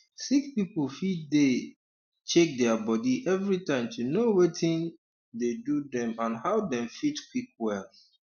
sick people fit dey um check their body everytime to know watin um dey do dem and how dem fit quick well um